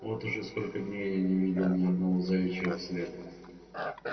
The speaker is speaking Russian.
вот уже сколько дней я не видел ни одного заячьего следа